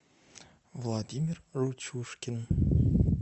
владимир ручушкин